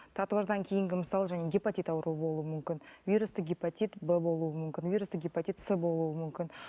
татуаждан кейінгі мысалы және гепатит ауруы болуы мүмкін вирусты гепатит б болуы мүмкін вирусты гепатит с болуы мүмкін